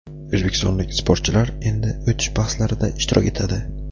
O‘zbekistonlik sportchilar endi o‘tish bahslarida ishtirok etadi.